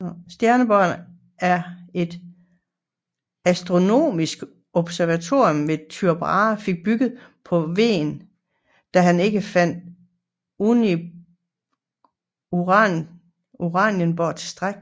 Stjerneborg var et astronomisk observatorium som Tycho Brahe fik bygget på Hven da han ikke fandt Uranienborg tilstrækkelig